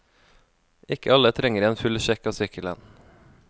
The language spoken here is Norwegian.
Ikke alle trenger en full sjekk av sykkelen.